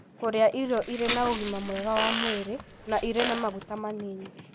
Kũrĩa irio irĩ na ũgima mwega wa mwĩrĩ na irĩ na maguta manini.